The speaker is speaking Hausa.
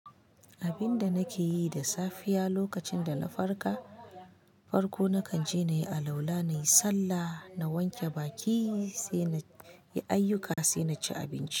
Abinda nake yi da safiya lokacin da na farka, farko nakan je na yi alwala, na yi sallah, na wanke baki sai na yi ayyuka sai na ci abinci.